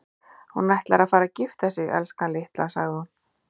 Hún ætlar að fara að gifta sig, elskan litla, sagði hún.